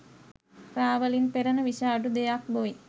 රා වලින් පෙරන විෂ අඩු දෙයක් බොයි.